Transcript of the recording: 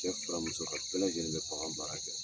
Cɛ fara muso kan, bɛɛ lajɛlen bɛ bagan baara kɛ.